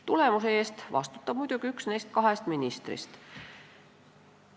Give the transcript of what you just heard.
Tulemuse eest vastutab muidugi üks neist kahest ministrist.